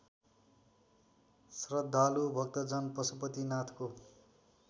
श्रद्धालु भक्तजन पशुपतिनाथको